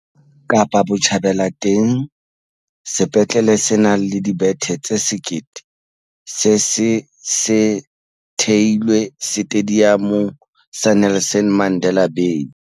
Kapa Botjhabela teng, sepetlele se nang le dibethe tse 1 000 se se se theilwe Setediamong sa Nelson Mandela Bay.